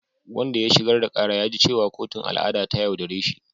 Wanda ya shigar da kara ya ji cewa kotun al’ada ta yaudare shi.